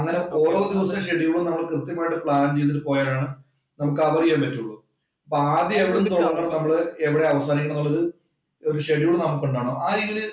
അങ്ങനെ ഓരോന്നും ഷെഡ്യൂള്‍ നമ്മള് കൃത്യമായിട്ട്‌ പ്ലാന്‍ ചെയ്തിട്ട് പോയാലാണ് നമുക്ക് കവര്‍ ചെയ്യാന്‍ പറ്റുകയുള്ളൂ. അപ്പം നമ്മള് ആദ്യം എവിടുന്നു തൊടങ്ങണം എവിടുന്നു അവസാനിക്കണം എന്നുള്ളത് ഒരു ഷെഡ്യൂള്‍ നമുക്കുണ്ടാകണം. ആ രീതിയില്